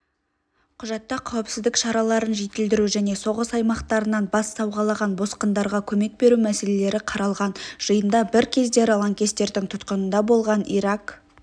құжатта қауіпсіздік шараларын жетілдіру және соғыс аймақтарынан бас сауғалаған босқындарға көмек беру мәселелері қаралған жиында бір кездері лаңкестердің тұтқынында болған ирак